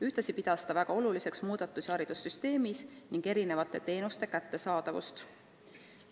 Ühtlasi pidas ta väga oluliseks muudatusi haridussüsteemis ning erinevate teenuste kättesaadavust.